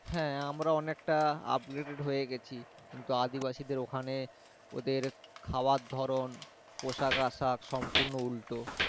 হ্যাঁ আমরা অনেকটা updated হয়ে গেছি কিন্তু আদিবাসী দেড় ওখানে ওদের খাওয়া ধরণ পোশাক আশাক সম্পূর্ণ উল্টো।